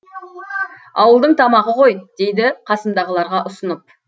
ауылдың тамағы ғой дейді қасымдағыларға ұсынып